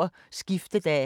TV 2